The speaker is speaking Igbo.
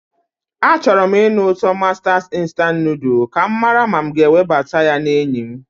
Achọrọ m ịnụ ụtọ masters instant noodle ka m mara ma m ga-ewebata ya na enyi m.